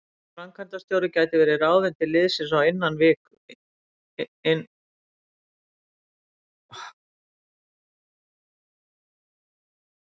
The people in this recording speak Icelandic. Nýr framkvæmdarstjóri gæti verið ráðinn til liðsins innan viku.